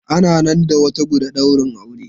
Ana nan da wata guda daurin aure.